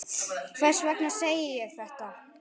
Hvers vegna segi ég þetta?